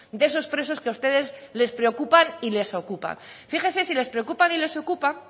de esos presos que a ustedes les preocupan y les ocupan fíjese si les preocupan y las es ocupan